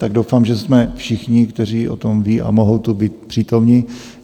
Tak doufám, že jsme všichni, kteří o tom vědí a mohou tu být přítomni.